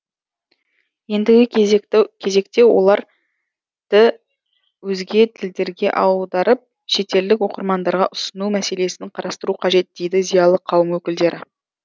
ендігі кезекте оларды өзге тілдерге аударып шетелдік оқырмандарға ұсыну мәселесін қарастыру қажет дейді зиялы қауым өкілдері